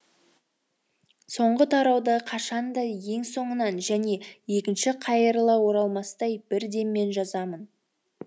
соңғы тарауды қашан да ең соңынан және екінші қайырыла оралмастай бір деммен жазамын